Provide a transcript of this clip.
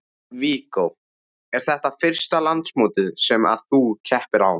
Viggó: Er þetta fyrsta landsmótið sem að þú keppir á?